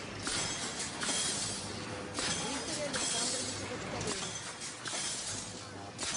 викторе александровиче бочкареве